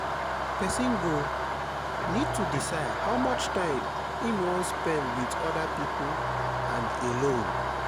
person go need to decide how much time im wan spend with oda pipo and alone